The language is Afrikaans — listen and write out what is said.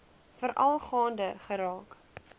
veral gaande geraak